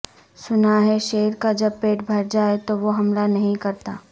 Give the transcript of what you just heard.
سناہے شیر کا جب پیٹ بھر جائے تووہ حملہ نہیں کرتا